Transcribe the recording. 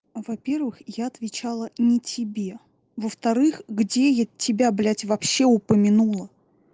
во-первых я отвечала ни тебе во-вторых где я тебя блять вообще упомянула